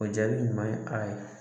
O jaabi ɲuman ye a ye